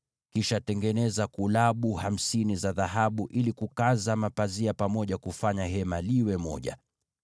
Kisha tengeneza vifungo hamsini vya dhahabu ili vitumike kufunga na kuunganisha mapazia pamoja kufanya Hema liwe kitu kimoja.